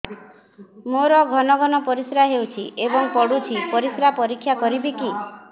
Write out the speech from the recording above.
ମୋର ଘନ ଘନ ପରିସ୍ରା ହେଉଛି ଏବଂ ପଡ଼ୁଛି ପରିସ୍ରା ପରୀକ୍ଷା କରିବିକି